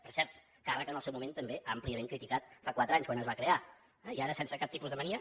per cert càrrec en el seu moment també àmpliament criticat fa quatre anys quan es va crear i ara sense cap tipus de mania